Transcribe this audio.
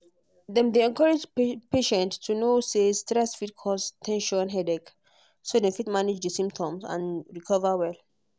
dem dey encourage patients to know say stress fit cause ten sion headache so dem fit manage di symptoms and recover well.